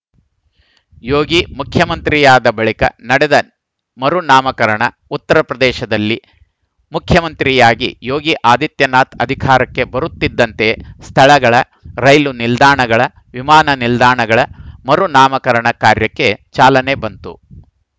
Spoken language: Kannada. ಯೋಗಿ ಮುಖ್ಯಮಂತ್ರಿಯಾದ ಬಳಿಕ ನಡೆದ ಮರುನಾಮಕರಣ ಉತ್ತರ ಪ್ರದೇಶದಲ್ಲಿ ಮುಖ್ಯಮಂತ್ರಿಯಾಗಿ ಯೋಗಿ ಆದಿತ್ಯನಾಥ್‌ ಅಧಿಕಾರಕ್ಕೆ ಬರುತ್ತಿದ್ದಂತೆಯೇ ಸ್ಥಳಗಳ ರೈಲು ನಿಲ್ದಾಣಗಳ ವಿಮಾನ ನಿಲ್ದಾಣಗಳ ಮರುನಾಮಕರಣ ಕಾರ್ಯಕ್ಕೆ ಚಾಲನೆ ಬಂತು